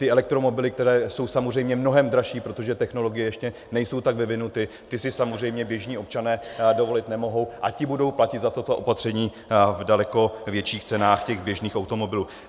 Ty elektromobily, které jsou samozřejmě mnohem dražší, protože technologie ještě nejsou tak vyvinuty, ty si samozřejmě běžní občané dovolit nemohou, a ti budou platit za toto opatření v daleko větších cenách těch běžných automobilů.